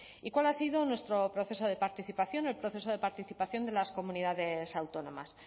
y cuál ha sido nuestro proceso de participación en el proceso de participación de las comunidades autónomas